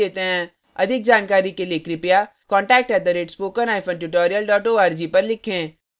अधिक जानकारी के लिए कृपया contact @spokentutorial org पर लिखें